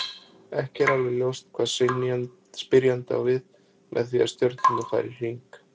Ekki er alveg ljóst hvað spyrjandi á við með því að stjörnurnar fari í hringi.